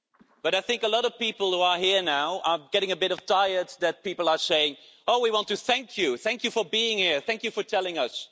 But I think a lot of people who are here now are getting a bit tired of people saying Oh, we want to thank you, thank you for being here, thank you for telling us'.